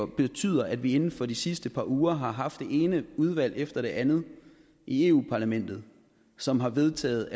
betyder at vi inden for de sidste par uger har haft det ene udvalg efter det andet i eu parlamentet som har vedtaget